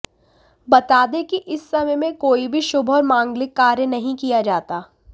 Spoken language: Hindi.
बता दें कि इस समय में कोई भी शुभ और मांगलिक कार्य नहीं किया जाता